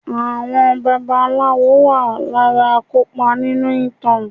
Àwọn babaláwo wà lára akopa nínú ìtàn.